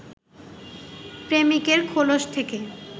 প্রেমিকের খোলশ থেকে